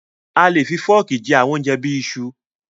A le fi fọ́ọ́kì jẹ àwọn oúnjẹ bí i iṣu.